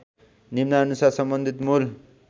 निम्नानुसार सम्बन्धित मूल